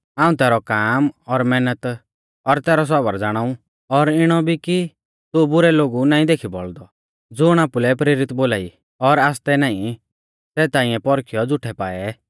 हाऊं तैरौ काम और मैहनत और तैरौ सौबर ज़ाणाऊ और इणौ भी कि तू बुरै लोगु नाईं देखी बौल़दौ और ज़ुण आपुलै प्रेरित बोलाई और आसतै नाईं सै ताइंऐ पौरखियौ झ़ूठै पाऐ